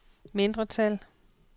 mindretal